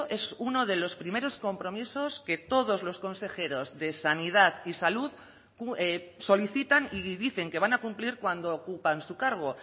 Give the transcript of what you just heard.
es uno de los primeros compromisos que todos los consejeros de sanidad y salud solicitan y dicen que van a cumplir cuando ocupan su cargo